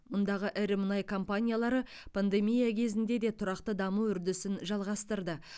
мұндағы ірі мұнай компаниялары пандемия кезінде де тұрақты даму үрдісін жалғастырды